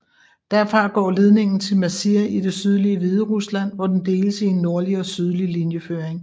Derfra går ledningen til Mazir i det sydlige Hviderusland hvor den deles i en nordlig og sydlig linjeføring